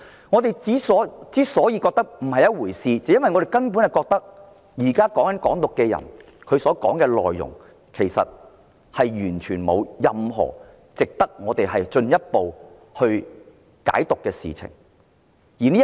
我們認為，"港獨"分子的言論並非甚麼一回事，因為他們的言論其實完全沒有任何值得進一步解讀的地方。